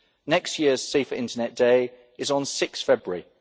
Next year's Safer Internet Day is on 6 February.